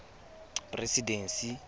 presidency